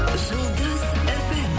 жұлдыз фм